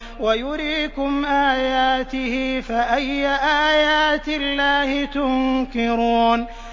وَيُرِيكُمْ آيَاتِهِ فَأَيَّ آيَاتِ اللَّهِ تُنكِرُونَ